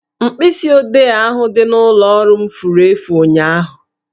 Mkpịsi odee ahụ dị n'ụlọ ọrụ m furu efu ụnyaahụ